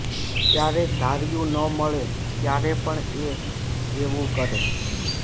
ક્યારેક ધાર્યું ન મળે ત્યારે પણ એ એવું કરે